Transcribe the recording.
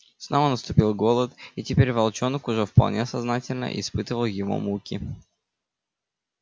снова наступил голод и теперь волчонок уже вполне сознательно испытывал его муки